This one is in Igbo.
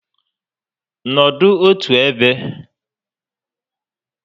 Nọdụ otu ebe!